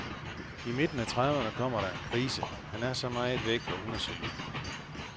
I midten af trediveerne kommer der en krise, han er så meget væk, og hun er jaloux.